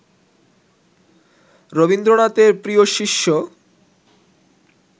রবীন্দ্রনাথের প্রিয় শিষ্য